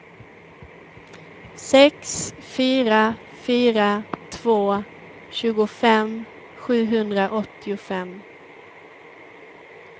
sex fyra fyra två tjugofem sjuhundraåttiofem